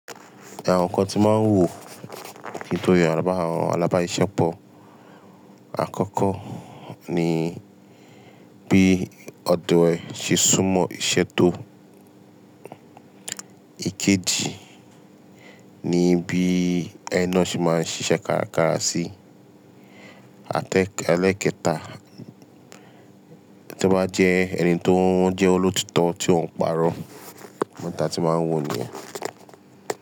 Àwọn ǹkan tí màá ń wò ki to yan àwọn alábáṣepọ̀, àkọ́kọ́ ni bí ọdo ee ṣe sún mọ́ ìṣẹ́ tó. Èkejì, ni bí ẹni na ṣe máa ń ṣíṣe kárakára sí. Àti ẹlẹ́ẹ̀kẹta, tó bá jẹ́ ẹni tó jẹ́ olóòtítọ́ ti ó ń pàrọ̀, àwọn ǹkan tí màá ń wò nìyẹn.